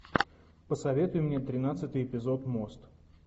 посоветуй мне тринадцатый эпизод мост